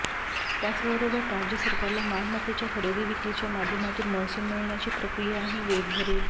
त्याचबरोबर राज्य सरकारला मालमत्तेच्या खरेदी विक्रीच्या माध्यमातून महसूल मिळण्याची प्रक्रियाही वेग धरेल